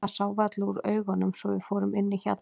Það sá varla út úr augunum svo að við fórum inn í hjallinn.